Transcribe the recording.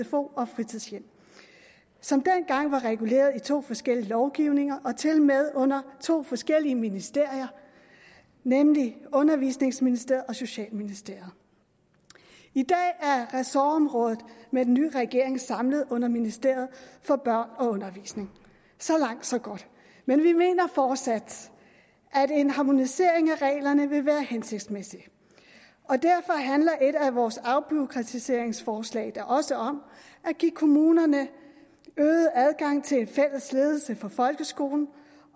sfo og fritidshjem som dengang var reguleret i to forskellige lovgivninger og tilmed under to forskellige ministerier nemlig undervisningsministeriet og socialministeriet i dag er ressortområdet med den nye regering samlet under ministeriet for børn og undervisning så langt så godt men vi mener fortsat at en harmonisering af reglerne vil være hensigtsmæssig og derfor handler et af vores afbureaukratiseringsforslag da også om at give kommunerne øget adgang til en fælles ledelse for folkeskolen